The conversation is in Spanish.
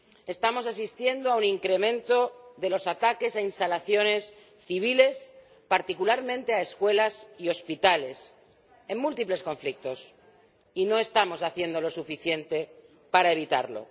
Estamos asistiendo a un incremento de los ataques a instalaciones civiles, particularmente a escuelas y hospitales, en múltiples conflictos, y no estamos haciendo lo suficiente para evitarlo.